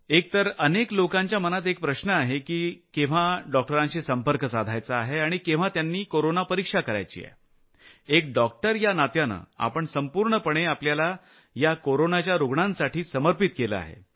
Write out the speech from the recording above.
एक तर अनेक लोकांच्या मनात एक प्रश्न आहे की केव्हा डॉक्टरांशी संपर्क साधायचा आहे आणि केव्हा त्यांनी कोरोना चाचणी करायची आहे एक डॉक्टर या नात्यानं आपण संपूर्णपणे आपल्याला या कोरोनाच्या रूग्णांसाठी समर्पित केलं आहे